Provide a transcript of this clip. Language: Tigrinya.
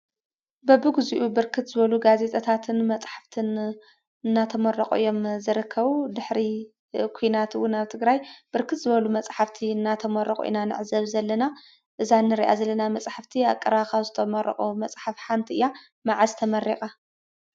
በቢግዚኡ ብርክት ዝበሉ ጋዜጣታትን መፅሓፍትን እናተመረቑ እዮም ዝርከቡ፡፡ ድሕሪ ዂናት እውን አብ ትግራይ ብርክት መፅሓፍቲ እናተመረቑ ኢና ንዕዘብ ዘለና፡፡ እዛ እንሪአ ዘለና መፅሓፍቲ አብ ቀረባ ካብ ዝተመረቑ መፅሓፍቲ ሓንቲ ኢያ፡፡ መዓዝ ተመሪቓ?